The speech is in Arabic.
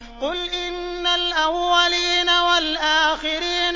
قُلْ إِنَّ الْأَوَّلِينَ وَالْآخِرِينَ